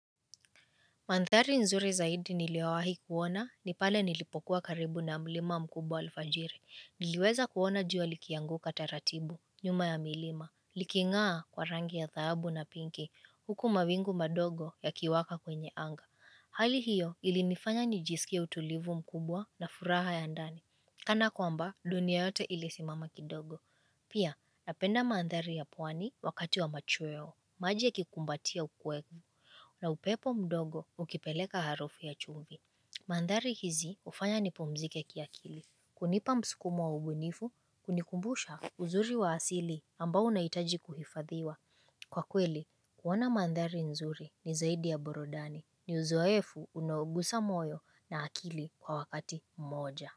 Mandhari nzuri zaidi niliyowahi kuona, nipale nilipokuwa karibu na mlima mkubwa alfajiri. Niliweza kuona jua likianguka taratibu, nyuma ya milima. Likingaa kwa rangi ya thahabu na pinki, huku mabingu madogo yakiwaka kwenye anga. Hali hiyo ilinifanya nijisikia utulivu mkubwa na furaha ya ndani. Kana kwamba, dunia yote ilisimama kidogo. Pia, napenda mandhari ya pwani wakati wa machweo, maji yakikumbatia ukweku. Na upepo mdogo ukipeleka harufu ya chumvi. Mandhari hizi hufanya nipumzike kia kili. Kunipa msukumo wa ubunifu, hunikumbusha uzuri wa asili ambao unahitaji kuhifadhiwa. Kwa kweli, kuwana mandari nzuri ni zaidi ya burudani. Ni uzoefu unaogusa moyo na akili kwa wakati mmoja.